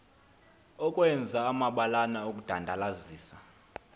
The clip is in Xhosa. ukwenza amabalana okudandalazisa